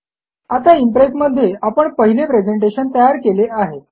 आता इम्प्रेस मध्ये आपण पहिले प्रेझेंटेशन तयार केले आहे